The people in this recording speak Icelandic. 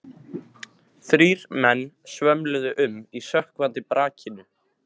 Þrír menn svömluðu um í sökkvandi brakinu.